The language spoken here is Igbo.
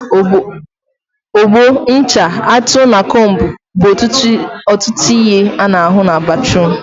Ogbo, ncha, atụ, na combu bụ ọtụtụ ihe a na ahụ na batruum